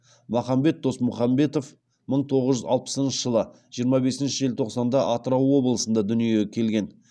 махамбет досмұхамбетов мың тоғыз жүз алпысыншы жылы жиырма бесінші желтоқсанда атырау облысында дүниеге келген